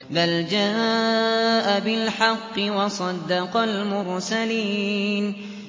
بَلْ جَاءَ بِالْحَقِّ وَصَدَّقَ الْمُرْسَلِينَ